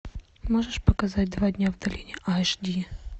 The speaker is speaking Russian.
можешь показать два дня в долине аш ди